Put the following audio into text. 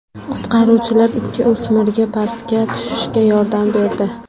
Qutqaruvchilar ikki o‘smirga pastga tushishga yordam berdi.